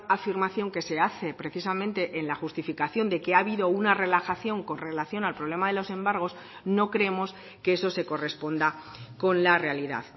afirmación que se hace precisamente en la justificación de que ha habido una relajación con relación al problema de los embargos no creemos que eso se corresponda con la realidad